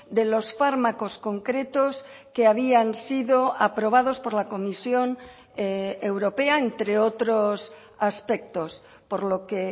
de los fármacos concretos que habían sido aprobados por la comisión europea entre otros aspectos por lo que